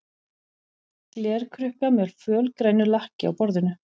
Glerkrukka með fölgrænu lakki á borðinu.